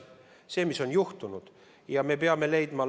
Me peame sellele, mis on juhtunud, lahendused leidma.